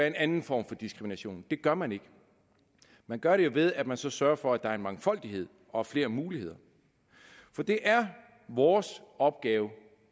en anden form for diskrimination det gør man ikke man gør det ved at man så sørger for at der er en mangfoldighed og flere muligheder for det er vores opgave